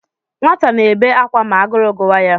Nwata na-ebe ákwà ma agụrụ gụwa ya.